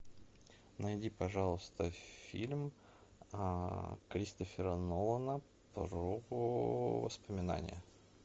найди пожалуйста фильм кристофера нолана про воспоминания